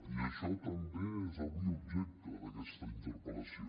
i això també és avui objecte d’aquesta interpel·lació